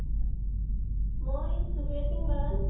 মই চুকেৰেতি বাগান